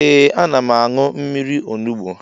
Ee ana m añụ mmiri onugbo